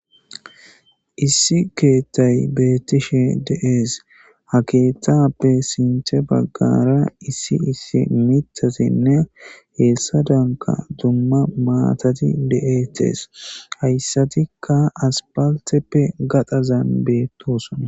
Issi keeththay betishe deas ha keeththappe sinta bagara issi issi mitazine hesadanka dumma matati deates hayisatika asipalitepe gadhazan betosona.